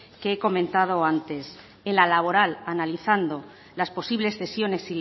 que he comentado antes en la laboral analizando las posibles cesiones